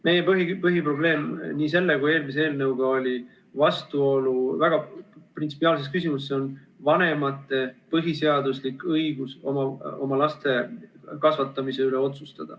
Meie põhiprobleem nii selle kui ka eelmise eelnõu puhul oli vastuolu väga printsipiaalses küsimuses, see on vanemate põhiseaduslik õigus otsustada oma laste kasvatamise üle.